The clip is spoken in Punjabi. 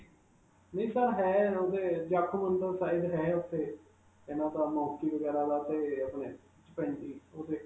ਹੈ. ਉਹ ਤੇ ਜਾਖੋ ਮੰਦਰ side ਹੈ ਉਥੇ monkey ਵਗੈਰਾ ਦਾ 'ਤੇ ਆਪਣੇ Chimpanzee ਉਥੇ